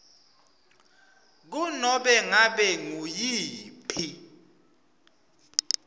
kunobe ngabe nguyiphi